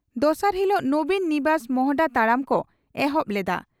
ᱫᱚᱥᱟᱨ ᱦᱤᱞᱚᱜ 'ᱱᱚᱵᱤᱱ ᱱᱤᱵᱟᱥ' ᱢᱚᱦᱚᱰᱟ ᱛᱟᱲᱟᱢ ᱠᱚ ᱮᱦᱚᱵ ᱞᱮᱫᱼᱟ